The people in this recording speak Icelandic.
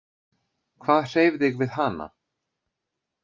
Hvað hreif þig við hana?